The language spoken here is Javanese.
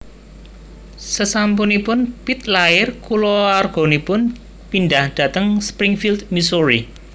Sasampunipun Pitt lair kulawarganipun pindhah dhateng Springfield Missouri